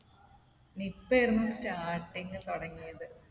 Nipah ആയിരുന്നു starting തുടങ്ങിയത്.